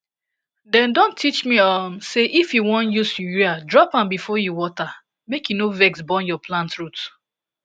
dem don teach me um say if you wan use urea drop am before you water make e no vex burn your plant root